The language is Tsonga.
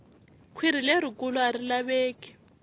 kwhiri leri kulu ari laveki